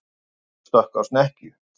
Hvalur stökk á snekkju